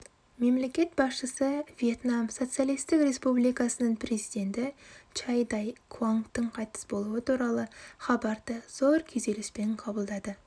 мемлекет басшысы вьетнам социалистік республикасының президенті чан дай куангтің қайтыс болуы туралы хабарды зор күйзеліспен қабылдады